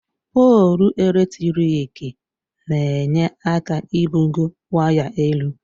Poolụ eletrik n'enye aka ibugo waya elu.